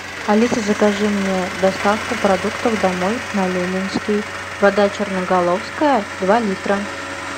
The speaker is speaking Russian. алиса закажи мне доставку продуктов домой на ленинский вода черноголовская два литра